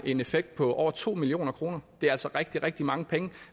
en effekt på over to million kroner det er altså rigtig rigtig mange penge